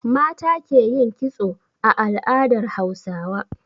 Mata ke yin kitso a al'adar Hausawa.